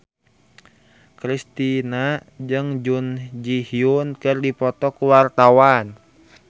Kristina jeung Jun Ji Hyun keur dipoto ku wartawan